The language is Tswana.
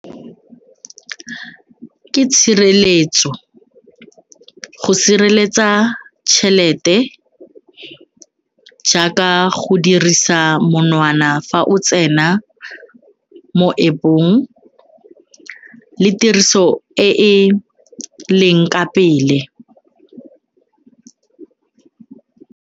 Ke tshireletso go sireletsa tšhelete jaaka go dirisa monwana fa o tsena mo App-ong le tiriso e e leng ka pele.